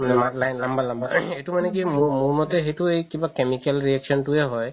মানে লাম্বা লাম্বা এইটো মানে কি মোৰ মতে সেইটোৱে কিবা chemical reaction তোৱে হয়